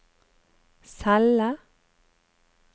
celle